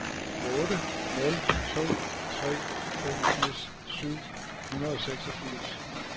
otte nul to tre femogfirs syv hundrede og seksogfirs